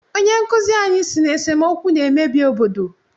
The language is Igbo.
Onyenkụzi anyị sị na esemookwu na-emebi obodo